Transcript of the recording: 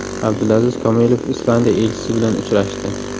Abdulaziz Komilov Islandiya elchisi bilan uchrashdi.